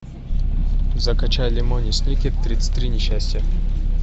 закачай лемони сникет тридцать три несчастья